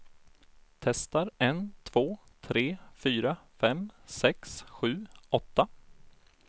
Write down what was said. Testar en två tre fyra fem sex sju åtta.